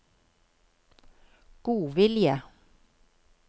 godvilje